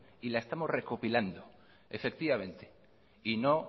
y la estamos recopilando efectivamente y no